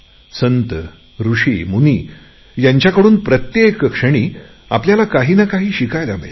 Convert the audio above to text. संत ऋषिमुनी यांच्याकडून प्रत्येक क्षणी आपल्याला काही न काही शिकवण मिळते